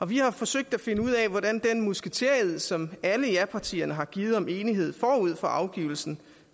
vi har forsøgt at finde ud af hvor langt den musketered som alle japartierne har givet om enighed forud for afgivelsen